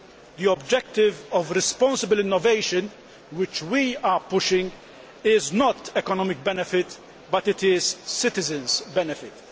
The objective of responsible innovation which we are pushing is not an economic benefit but it is a citizens' benefit.